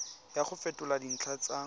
ya go fetola dintlha tsa